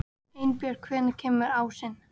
Einbjörg, hvenær kemur ásinn?